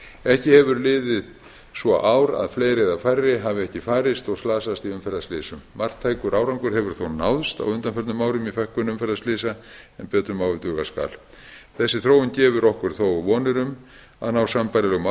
hár ekki hefur liðið svo ár að fleiri eða færri hafi ekki farist og slasast í umferðarslysum marktækur árangur hefur þó náðst á undanförnum árum í fækkun umferðarslysa en betur má ef duga skal þessi þróun gefur okkur þó vonir um að ná sambærilegum